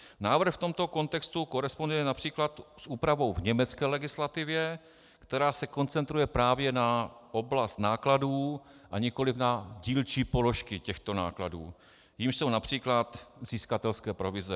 Návrh v tomto kontextu koresponduje například s úpravou v německé legislativě, která se koncentruje právě na oblast nákladů, a nikoliv na dílčí položky těchto nákladů, jimiž jsou například získatelské provize.